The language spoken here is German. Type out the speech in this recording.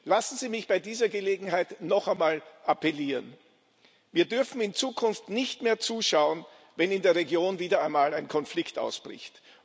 Lassen Sie mich bei dieser Gelegenheit noch einmal appellieren Wir dürfen in Zukunft nicht mehr zuschauen, wenn in der Region wieder einmal ein Konflikt ausbricht.